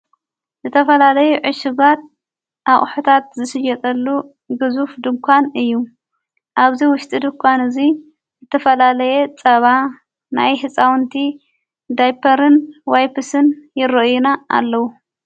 ዝተፈላለይ ዕሽጓት ኣቕሕታት ዝስየጠሉ ግዙፍ ድንኳን እዩ ኣብዙይ ውሽጢ ድኳን እዙይ ዝተፈላለየ ጸባ ናይ ሕፃውንቲ ዳይፐር ዋይፕስን ይሮኦይና ኣለዉ።